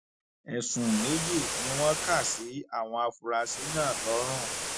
ẹsùn méjì ni wọn kà sí àwọn afurasí náà lọrùn